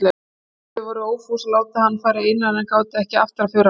Þau voru ófús að láta hann fara einan en gátu ekki aftrað för hans.